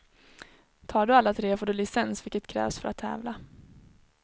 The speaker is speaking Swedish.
Tar du alla tre får du licens vilket krävs för att tävla.